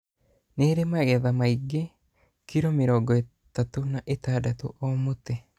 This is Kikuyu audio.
Nĩ ũrĩ magetha maingĩ ( kilo mĩrongo ĩtatu na ĩtandatũ o mũtĩ).